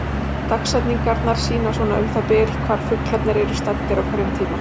Dagsetningarnar sýna svona um það bil hvar fuglarnir eru staddir á hverjum tíma.